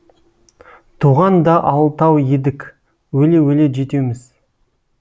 туған да алтау едік өле өле жетеуміз